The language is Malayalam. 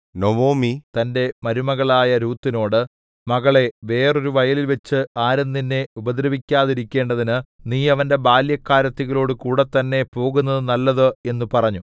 നൊവൊമി തന്റെ മരുമകളായ രൂത്തിനോട് മകളേ വെറൊരു വയലിൽവച്ച് ആരും നിന്നെ ഉപദ്രവിക്കാതിരിക്കേണ്ടതിന് നീ അവന്റെ ബാല്യക്കാരത്തികളോടു കൂടെ തന്നെ പോകുന്നത് നല്ലത് എന്നു പറഞ്ഞു